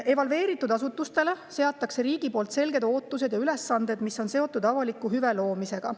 Evalveeritud asutustele seab riik selged ootused ja ülesanded, mis on seotud avaliku hüve loomisega.